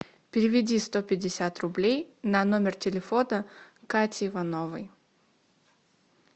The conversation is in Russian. переведи сто пятьдесят рублей на номер телефона кати ивановой